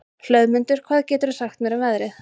Hlöðmundur, hvað geturðu sagt mér um veðrið?